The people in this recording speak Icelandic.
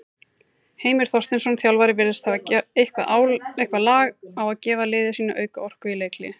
Heimir Þorsteinsson, þjálfari virðist hafa eitthvað lag á gefa liði sínu auka orku í leikhléi.